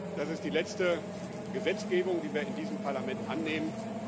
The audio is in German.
Das ist die letzte Gesetzgebung, die wir in diesem Parlament annehmen.